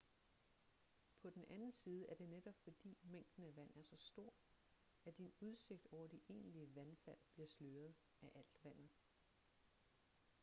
på den anden side er det netop fordi mængden af vand er så stor at din udsigt over de egentlige vandfald bliver sløret-af alt vandet